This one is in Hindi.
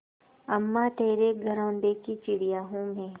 अम्मा तेरे घरौंदे की चिड़िया हूँ मैं